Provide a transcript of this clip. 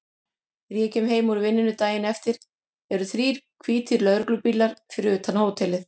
Þegar ég kem heim úr vinnunni daginn eftir eru þrír hvítir lögreglubílar fyrir utan hótelið.